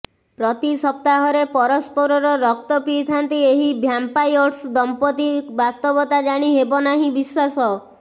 ପ୍ରତି ସପ୍ତାହରେ ପରସ୍ପରର ରକ୍ତ ପିଇଥାନ୍ତି ଏହି ଭ୍ୟାମ୍ପାୟର୍ସ ଦମ୍ପତି ବାସ୍ତବତା ଜାଣି ହେବ ନାହିଁ ବିଶ୍ବାସ